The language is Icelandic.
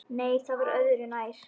Nei, það var öðru nær!